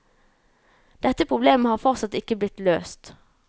Dette problemet har fortsatt ikke blitt løst.